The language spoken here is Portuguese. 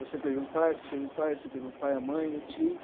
Você teve um pai, você teve um pai, você teve um pai, a mãe, eu tive.